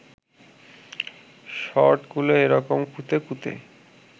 শর্টগুলো এ রকম কুঁতে কুঁতে